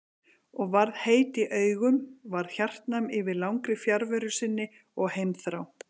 Og varð heit í augum, varð hjartnæm yfir langri fjarveru sinni og heimþrá.